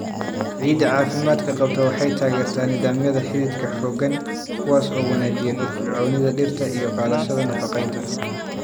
Ciidda caafimaadka qabta waxay taageertaa nidaamyada xididka xooggan, kuwaas oo wanaajiya firfircoonida dhirta iyo qaadashada nafaqeynta.